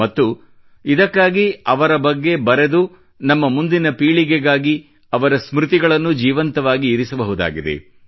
ಮತ್ತು ಇದಕ್ಕಾಗಿ ಅವರ ಬಗ್ಗೆ ಬರೆದು ನಮ್ಮ ಮುಂದಿನ ಪೀಳಿಗೆಗಾಗಿ ಅವರ ಸ್ಮೃತಿಗಳನ್ನು ಜೀವಂತವಾಗಿ ಇರಿಸಬಹುದಾಗಿದೆ